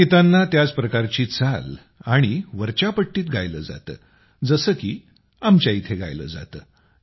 या गीतांना त्याच प्रकारची चाल आणि वरच्या पट्टीत गायिलं जातं जसं की आमच्या इथं गायलं जातं